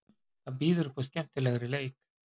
Það býður upp á skemmtilegri leik.